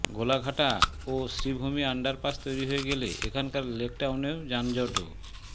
গোলাঘাটা ও শ্রীভূমি আন্ডারপাস তৈরি হয়ে গেলে এখনকার লেকটাউনের যানজটও